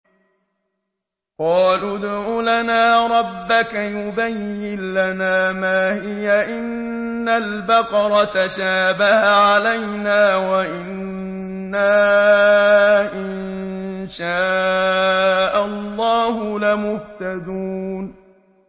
قَالُوا ادْعُ لَنَا رَبَّكَ يُبَيِّن لَّنَا مَا هِيَ إِنَّ الْبَقَرَ تَشَابَهَ عَلَيْنَا وَإِنَّا إِن شَاءَ اللَّهُ لَمُهْتَدُونَ